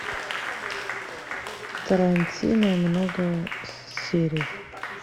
тарантино много серий